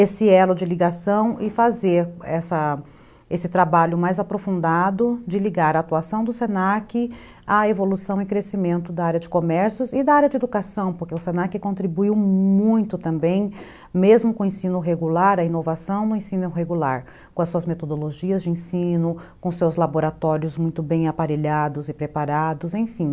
esse elo de ligação e fazer essa esse trabalho mais aprofundado de ligar a atuação do se na que à evolução e crescimento da área de comércios e da área de educação, porque o se na que contribuiu muito também, mesmo com o ensino regular, a inovação no ensino regular, com as suas metodologias de ensino, com seus laboratórios muito bem aparelhados e preparados, enfim.